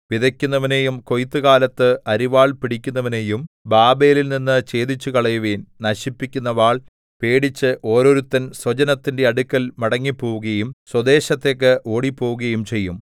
വിതയ്ക്കുന്നവനെയും കൊയ്ത്തുകാലത്ത് അരിവാൾ പിടിക്കുന്നവനെയും ബാബേലിൽനിന്ന് ഛേദിച്ചുകളയുവിൻ നശിപ്പിക്കുന്ന വാൾ പേടിച്ച് ഓരോരുത്തൻ സ്വജനത്തിന്റെ അടുക്കൽ മടങ്ങിപ്പോവുകയും സ്വദേശത്തേക്ക് ഓടിപ്പോവുകയും ചെയ്യും